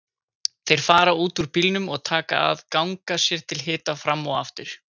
Þeir fara út úr bílnum og taka að ganga sér til hita fram og aftur.